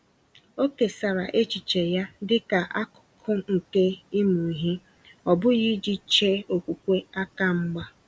O kesara echiche ya dịka akụkụ nke ịmụ ihe, ọ bụghị iji chee okwukwe aka mgba.